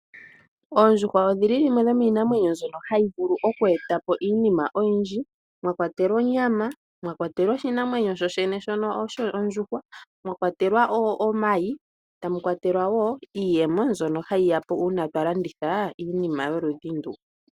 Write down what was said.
Oondjuhwa odhili dhimwe dhomiinamwenyo mbyoka hayi vulu okweeta po iinima oyindji mwa kwatelwa onyama, mwa kwatelwa oshinamwenyo sho shene shono shondjuhwa, mwa kwatelwa omayi tamu kwatelwa wo iiyemo mbyono hayi ya po uuna twa landitha iinima yoludhi ndu.